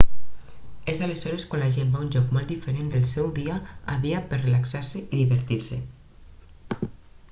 és aleshores quan la gent va a un lloc molt diferent del seu dia a dia per relaxar-se i divertir-se